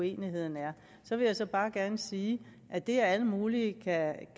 uenigheden er så vil jeg bare gerne sige at det at alle mulige kan